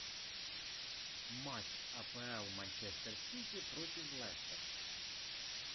матч апл манчестер сити против лестер